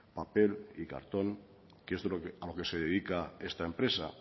papel y cartón que es a lo que se dedica esta empresa